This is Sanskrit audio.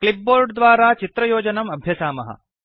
क्लिप्बोर्ड् द्वारा चित्रयोजनम् अभ्यसामः